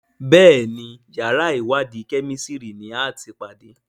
Béèni yàrá iwadi Kẹ́mísìrì ní àti pàdé.